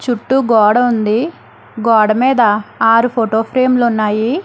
చుట్టూ గోడ ఉంది గోడ మీద ఆరు ఫోటో ఫ్రేమ్ లు ఉన్నాయి.